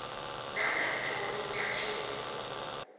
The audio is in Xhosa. nangantoni na engekho